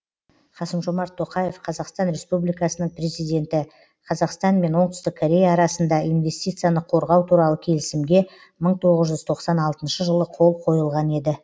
қасым жомарт тоқаев қазақстан республикасының президенті қазақстан мен оңтүстік корея арасында инвестицияны қорғау туралы келісімге мың тоғыз жүз тоқсан алтыншы жылы қол қойылған еді